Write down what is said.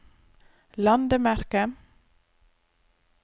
landemerke